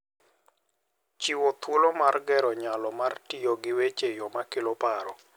Chiwo thuolo mar gero nyalo mar tiyo gi weche e yo makelo paro.